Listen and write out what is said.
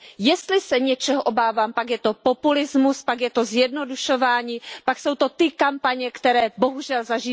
Jestli se něčeho obávám, pak je to populismus, pak je to zjednodušování, pak jsou to ty kampaně, které bohužel zažíváme.